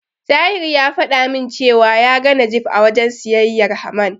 Tahir ya fada min cewa ya ga Najeeb a wajen siyayyar Haman.